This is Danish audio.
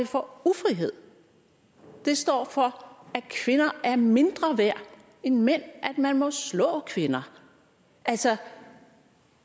for ufrihed det står for at kvinder er mindre værd end mænd at man må slå kvinder altså